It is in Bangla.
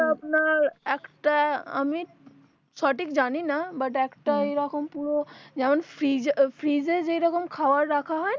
ওরা আপনার একটা আমি সঠিক জানি না but একটা এরকম পুরো যেমন freeze এ freeze এ যে রকম খাবার রাখা হয়না